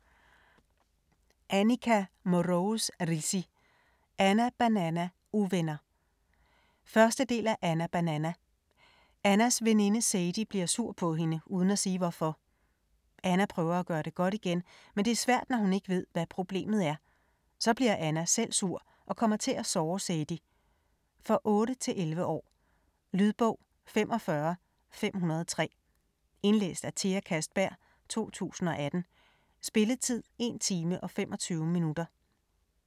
Mrose Rissi, Anica: Anna, Banana - uvenner 1. del af Anna, Banana. Annas veninde Sadie bliver sur på hende uden at sige hvorfor. Anna prøver at gøre det godt igen, men det er svært når hun ikke ved, hvad problemet er. Så bliver Anna selv sur og kommer til at såre Sadie. For 8-11 år. Lydbog 45503 Indlæst af Thea Kastberg, 2018. Spilletid: 1 time, 25 minutter.